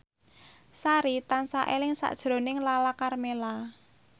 Sari tansah eling sakjroning Lala Karmela